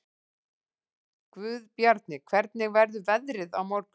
Guðbjarni, hvernig verður veðrið á morgun?